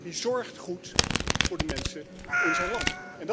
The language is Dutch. Hij zorgt goed voor de mensen in zijn land.